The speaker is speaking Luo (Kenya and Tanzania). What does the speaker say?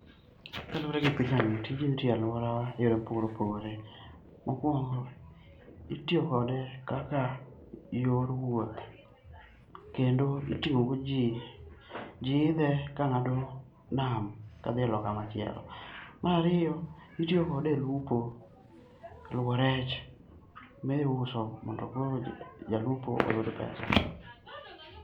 Kaluwore gi pichani, tijni itiye alworawa e yore mopogore opogore. Mokwongo, itiyo kode kaka yor wuoth kendo iting'o go ji, ji idhe ka ng'ado nam kadhi e loka machielo. Marariyo, itiyo kode e lupo, luwo rech. Mi iuso mondo koro jalupo oyud pesa.